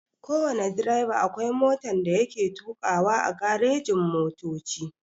Kowana direba akwai motan da yake tukawa a garejin motoci.